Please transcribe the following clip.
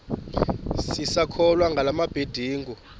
sisakholwa ngala mabedengu